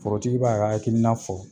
Forotigi b'a ka hakilina fɔ.